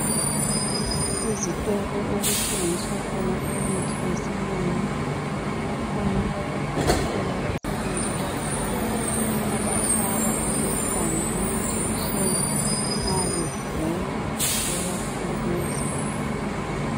Ezitolo okuthengiswa khona imithi yesilungu bakhona abodokotela abasebenzela khona abahlaba abantwana amajekiseni nxa begula bebasilisa.